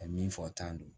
A ye min fɔ tan don